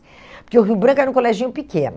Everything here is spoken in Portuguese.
Porque o Rio Branco era um coleginho pequeno.